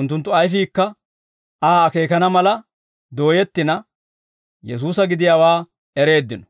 Unttunttu ayfiikka Aa akeekaana mala dooyettina, Yesuusa gidiyaawaa ereeddino.